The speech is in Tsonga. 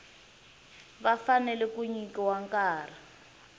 va fanele ku nyikiwa nkarhi